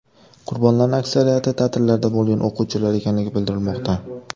Qurbonlarning aksariyati ta’tillarda bo‘lgan o‘quvchilar ekanligi bildirilmoqda.